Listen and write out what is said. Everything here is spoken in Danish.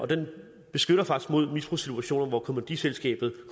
den beskytter faktisk mod misbrugssituationer hvor kommanditselskabet